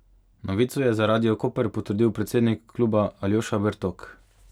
Novico je za Radio Koper potrdil predsednik kluba Aljoša Bertok.